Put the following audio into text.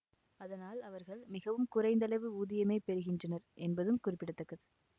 அதனால் அவர்கள் மிகவும் குறைந்தளவு ஊதியமே பெறுகின்றனர் என்பதும் குறிப்பிட தக்கது